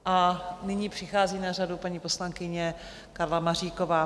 A nyní přichází na řadu paní poslankyně Karla Maříková.